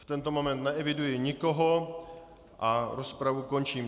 V tento moment neeviduji nikoho a rozpravu končím.